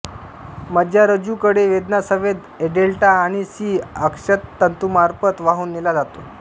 मज्जारज्जू कडे वेदना संवेद एडेल्टा आणि सी अक्षतंतूमार्फत वाहून नेला जातो